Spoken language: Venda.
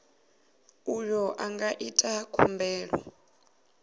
uyo a nga ita khumbelo